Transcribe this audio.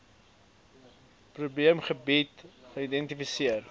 probeem gebiede geïdentifiseer